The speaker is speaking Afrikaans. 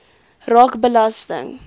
raak belasting